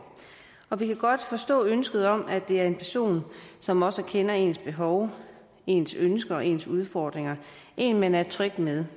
og vi kan godt forstå ønsket om at det er en person som også kender ens behov ens ønsker og ens udfordringer en man er tryg ved